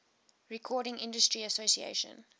recording industry association